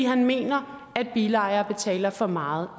han mener at bilejere betaler for meget